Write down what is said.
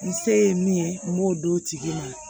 N se ye min ye n b'o d'o tigi ma